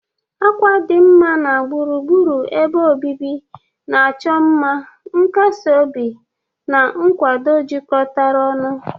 Akwa dinma na gburugburu ebe obibi na-achọ mma, nkasi obi na nkwado jikọtara ọnụ.